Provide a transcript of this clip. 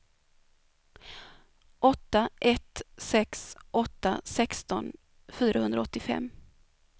åtta ett sex åtta sexton fyrahundraåttiofem